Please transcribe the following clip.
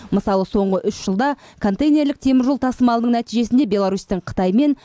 мысалы соңғы үш жылда контейнерлік теміржол тасымалының нәтижесінде беларусьтің қытаймен